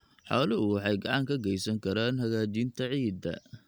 Xooluhu waxay gacan ka geysan karaan hagaajinta ciidda.